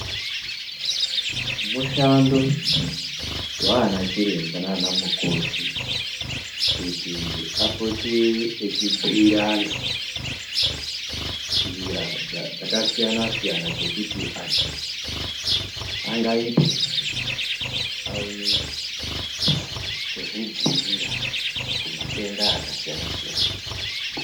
Mushando vaana chiremba nana mukoti kuti vapote vachibhuira vantu nzira dzakasiyana siyana dzekuti anhu angaitei kuti aone kuzvidziirira kumayenda akasiyana siyana.